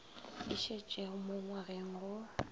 e šetšego mo ngwageng go